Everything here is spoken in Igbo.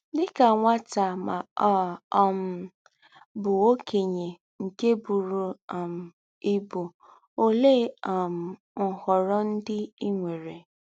Dí ká nwátá mà ọ̀ um bú òkényé nké bùrù um íbú, óléé um ǹhọ́rọ́ ndí́ ì̀ nwérè?